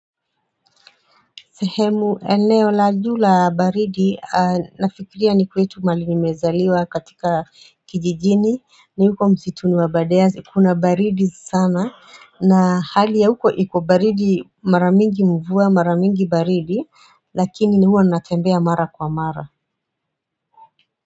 Sehemu eneo la juu la baridi nafikiria ni kwetu mahali nimezaliwa katika kijijini ni huko msituni wa abadeas kuna baridi sana na hali ya huko iko baridi mara mingi mvua mara mingi baridi lakini huwa natembea mara kwa mara.